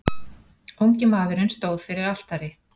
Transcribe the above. Ungi maðurinn stóð fyrir altari.